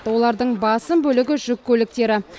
олардың басым бөлігі жүк көліктері